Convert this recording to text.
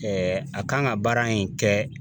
Ɛɛ a kan ga baara in kɛ